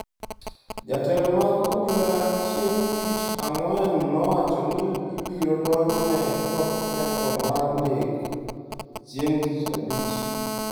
Jotelo mag obila chieng’ tich ang’wen nowacho ni ibiro donjne kod ketho mar nek chieng’ tich abich.